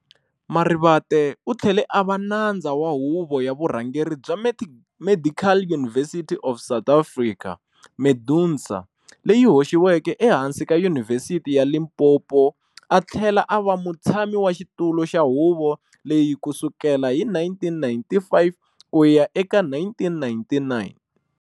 Marivate uthlele ava nadza wa huvo ya vurhangeri bya Medical University of South Africa, MEDUNSA, leyi hoxiweke ehansi ka yunivhesithi ya Limpopo, a thlela ava mutshami wa xitulu xa huvo leyi kusukela hi 1995 kuya eka 1999.